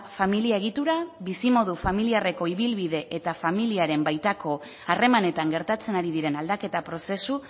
familia egitura bizimodu familiarreko ibilbide eta familiaren baitako harremanetan gertatzen ari diren aldaketa prozesu